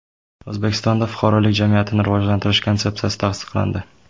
O‘zbekistonda fuqarolik jamiyatini rivojlantirish konsepsiyasi tasdiqlandi.